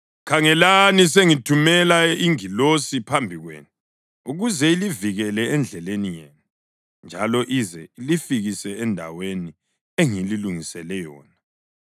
“Khangelani, sengithumela ingilosi phambi kwenu ukuze ilivikele endleleni yenu njalo ize ilifikise endaweni engililungisele yona.